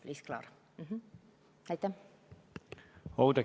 Oudekki Loone, palun!